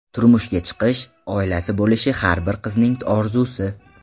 Turmushga chiqish, oilasi bo‘lishi har bir qizning orzusi.